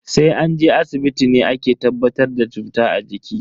Sai an je asibiti ne ake tabbatar da cuta a jiki.